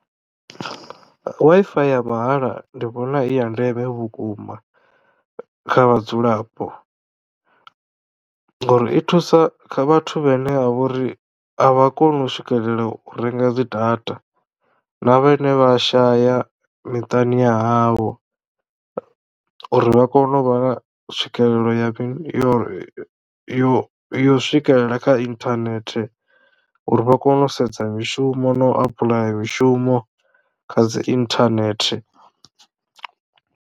Wi-Fi ya mahala ndi vhona i ya ndeme vhukuma kha vhadzulapo ngauri i thusa kha vhathu vhane vha vhori a vha koni u swikelela u renga dzi data na vhane vha shaya miṱani ya havho uri vha kono u vha na tswikelelo ya yo yo yo swikelela kha internet uri vha kono u sedza mishumo na u apply mishumo kha dzi internet.